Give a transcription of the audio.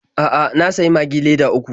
A'a, na sayi Magi leda uku.